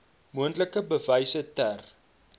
moontlik bewyse ter